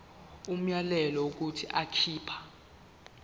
umyalelo wokuthi akhipha